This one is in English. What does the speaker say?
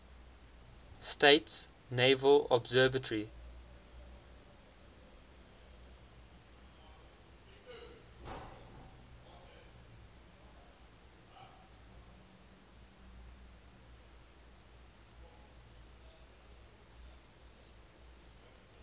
states naval observatory